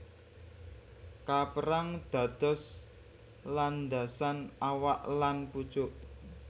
Kaperang dados landasan awak lan pucuk